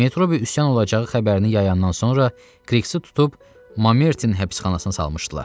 Metro bir üsyan olacağı xəbərini yayandan sonra Kriksi tutub Mamertin həbsxanasına salmışdılar.